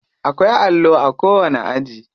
Akwai allo a kowani aji.